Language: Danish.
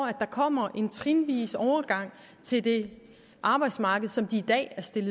at der kommer en trinvis overgang til det arbejdsmarked som de i dag